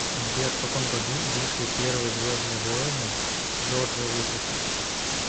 сбер в каком году вышли первые звездные воины джорджа лукаса